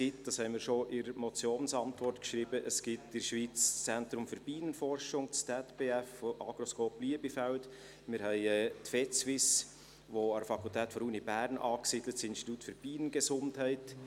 Wie wir schon in der Motionsantwort geschrieben haben, gibt es in der Schweiz das Zentrum für Bienenforschung (ZBF) von der Agroscope Liebefeld, und wir haben die Vetsuisse-Fakultät der Universität Bern mit ihrem Institut für Bienengesundheit.